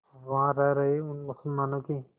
वहां रह रहे उन मुसलमानों की